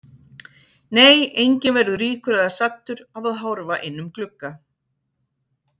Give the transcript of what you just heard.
Nei, enginn verður ríkur eða saddur af að horfa inn um glugga.